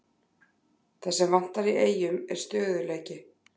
Það sem vantar í Eyjum er stöðugleiki.